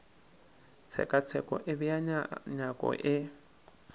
tshekatsheko e bea nyako ye